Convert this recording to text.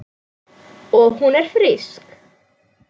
Og hún er frísk.